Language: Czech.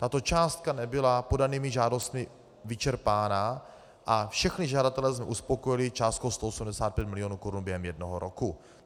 Tato částka nebyla podanými žádostmi vyčerpána a všechny žadatele jsme uspokojili částkou 185 milionů korun během jednoho roku.